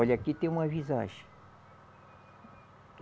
Olha, aqui tem uma visagem.